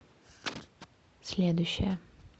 следующая